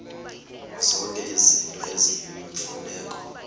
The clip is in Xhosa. zonke izinto eziyimfuneko